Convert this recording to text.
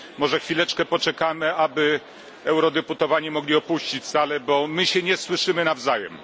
Może chwileczkę poczekamy, aby eurodeputowani mogli opuścić salę, bo my się nie słyszymy nawzajem.